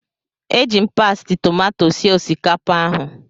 Eji m Pasti tomato sie osikapa ahụ